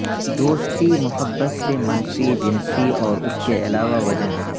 دوستی محبت سے منفی جنسی اور اس کے علاوہ وجہ ہے